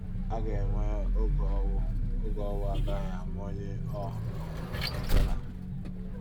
A ga-enwe oge owu oge owu agaghị ama ọnye ọ um bụla.